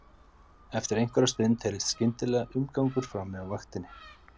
Eftir einhverja stund heyrðist skyndilega umgangur frammi á vaktinni.